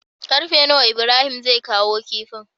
Karfe nawa Ibrahim zai kawo kifin?